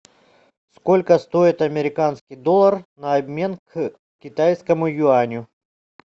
сколько стоит американский доллар на обмен к китайскому юаню